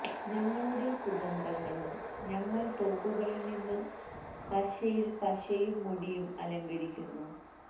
ഞങ്ങളുടെ സുഗന്ധങ്ങളും ഞങ്ങൾ തോക്കുകളിൽ നിന്ന് പശയിൽ പശയും മുടിയും അലങ്കരിക്കുന്നു